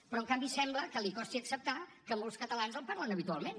però en canvi sembla que li costi acceptar que molts catalans el parlen habitualment